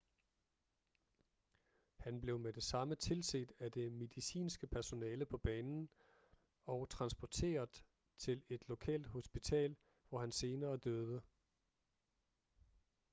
han blev med det samme tilset af det medicinske personale på banen og transporteret til et lokalt hospital hvor han senere døde